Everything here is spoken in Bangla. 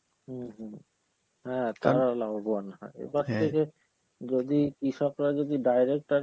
হম হম হ্যাঁ তারা লাভবোন, হ্যাঁ এবার থেকে যদি কৃষকরা যদি direct আর